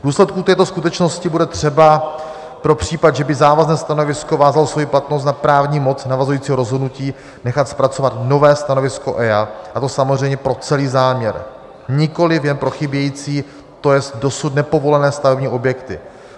V důsledku této skutečnosti bude třeba pro případ, že by závazné stanovisko vázalo svoji platnost nad právní pomoc navazujícího rozhodnutí, nechat zpracovat nové stanovisko EIA, a to samozřejmě pro celý záměr, nikoliv jen pro chybějící, to jest dosud nepovolené stavební objekty.